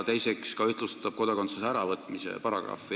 Teiseks ühtlustab ta kodakondsuse äravõtmise paragrahve.